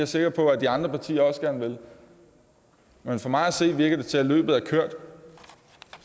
sikker på at de andre partier også gerne vil men for mig at se virker det til at løbet er kørt